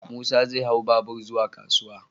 Musa zai hau babur zuwa kasuwa.